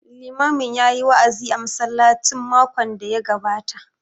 Limamin ya yi wa'azi a masallacin makon da ya gabata